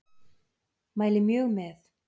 Mæli mjög með.